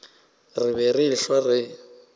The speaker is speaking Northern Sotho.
re be re ehlwa re